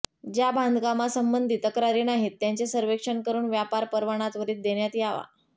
ज्या बांधकामांसंबंधी तक्रारी नाहीत त्यांचे सर्वेक्षण करून व्यापार परवाना त्वरित देण्यात यावा